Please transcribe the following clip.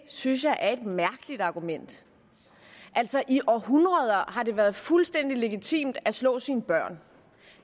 synes jeg er et mærkeligt argument i århundreder har det været fuldstændig legitimt at slå sine børn